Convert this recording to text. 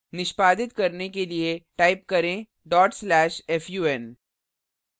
निष्पादित करने के लिए type करें/fun dot slash fun